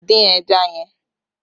Dín ẹja yẹn!